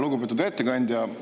Lugupeetud ettekandja!